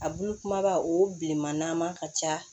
A bulu kumaba o bilenman ka ca